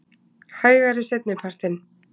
Hægari seinni partinn